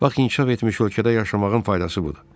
Bax, inkişaf etmiş ölkədə yaşamağın faydası budur.